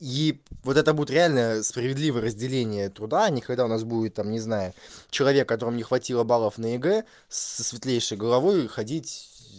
и вот это будет реально справедливое разделение труда никогда у нас будет там не знаю человек которому не хватило баллов на егэ со светлейшей головой ходить